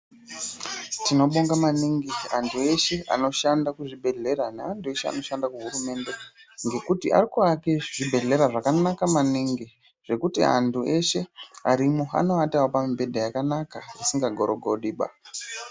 Tinobonga maningi antu eshe anoshanda kuzvibhedhlera neantu eshe anoshanda kuhurumende, ngekuti arikuake zvibhedhlera zvakanaka maningi zvekuti antu eshe arimo anoatawo pamibhedha yakanaka isingagorogodiba.